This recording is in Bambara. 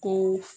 Ko